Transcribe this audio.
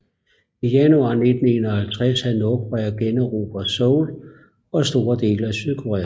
I januar 1951 havde Nordkorea generobret Seoul og store dele af Sydkorea